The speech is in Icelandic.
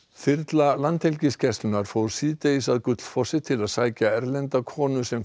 þyrla Landhelgisgæslunnar fór síðdegis að Gullfossi til að sækja erlenda konu sem